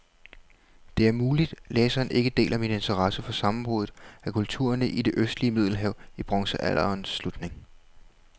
Det er muligt, læseren ikke deler min interesse for sammenbruddet af kulturerne i det østlige middelhav i bronzealderens slutning.